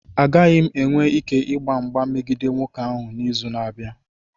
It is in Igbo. Agaghị m enwe ike ịgba mgba megide nwoke ahụ n'izu na-abịa.